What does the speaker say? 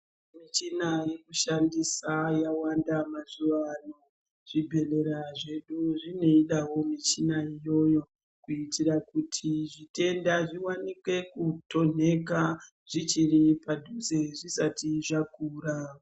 Muchina yekushandisa yawanda mazuwano. Zvibhehlera zvedu zvinoidawo michina iyoyo kuita kuti zvitenda zvikwanise kutonheka zvichiri padhuze zvisati zvakura.